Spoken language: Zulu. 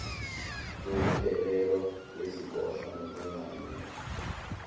zokudedelwa kweziboshwa nokwenganyelwa